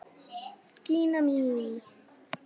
Gína mín!